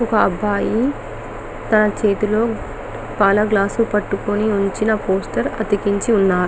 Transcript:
ఒక అబ్బాయి తన చేతిలో పాల గ్లాస్ పట్టుకొని ఉంచిన పోస్టర్ అతికిచ్చి ఉన్నా--